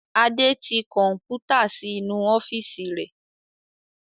Adé tí Kọ̀npútà síí inú ọ́fíìsì rẹ̀